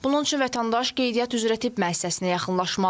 Bunun üçün vətəndaş qeydiyyat üzrə tibb müəssisəsinə yaxınlaşmalıdır.